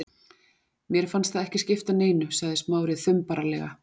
Mér fannst það ekki skipta neinu- sagði Smári þumbaralega.